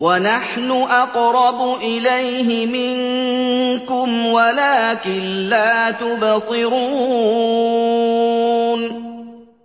وَنَحْنُ أَقْرَبُ إِلَيْهِ مِنكُمْ وَلَٰكِن لَّا تُبْصِرُونَ